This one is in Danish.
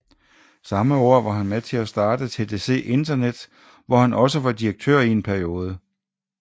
Samme år var han med til at starte TDC Internet hvor han også var direktør i en periode